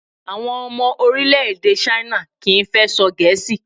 Àwọn ọmọ orílẹ̀-èdè China kì í fẹ́ sọ Gẹ̀ẹ́sì